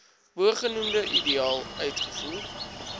bogenoemde ideaal uitgevoer